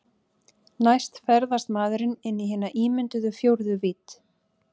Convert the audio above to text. Næst ferðast maðurinn inn í hina ímynduðu fjórðu vídd.